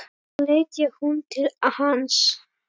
Þá leit hún til hans.